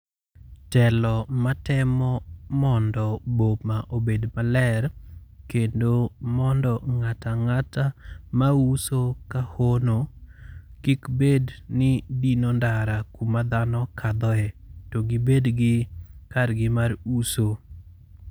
telo ma temo mondo boma obed maler, kendo mondo ng'ata ng'ata mauso ka hono kik bed ni dino ndara kuma dhano kadhoe, to gibedgi kargi mar uso.